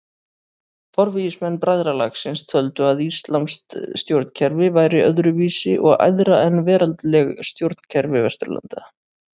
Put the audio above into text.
Forvígismenn bræðralagsins töldu að íslamskt stjórnkerfi væri öðru vísi og æðra en veraldleg stjórnkerfi Vesturlanda.